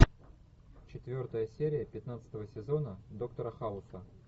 четвертая серия пятнадцатого сезона доктора хауса